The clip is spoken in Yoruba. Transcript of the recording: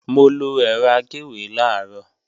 Mo lọ ẹ̀rọ agéwé làárọ̀